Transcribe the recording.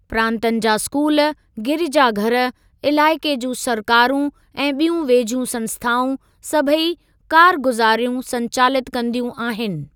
प्रांतनि जा स्‍कूल, गिरिजाघर, इलाइक़े जूं सरकारूं ऐं ॿियूं वेझियूं संस्‍थाऊं, सभई कारगुजारियूं संचालित कंदियूं आहिनि।